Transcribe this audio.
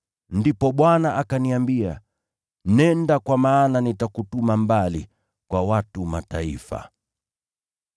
“Ndipo Bwana akaniambia, ‘Nenda, kwa maana nitakutuma mbali, kwa watu wa Mataifa.’ ”